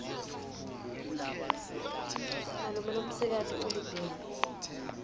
malume lomsikati ulibhimbi